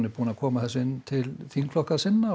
búnir að koma því inn til þingflokka sinna og